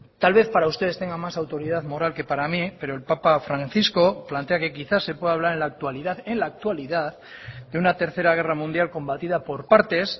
tal vez para ustedes tenga más autoridad moral que para mí pero el papa francisco plantea que quizás se puede hablar en la actualidad en la actualidad de una tercera guerra mundial combatida por partes